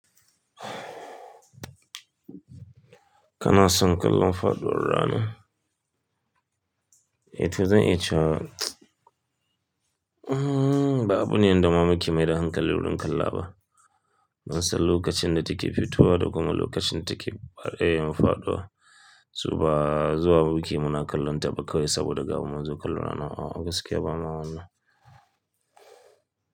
Kana son kallon faɗuwar rana? Eh to zan iya cewa ba abu ne wanda ma muki mai da hankali wurin kalla ba. Mun san lokacin da take fitowa da kuma lokacin take mafaduwa. Zuwa muke muna kallonta ba kawai saboda gamu munzo kallon rana a'a gaskiya bama wannan.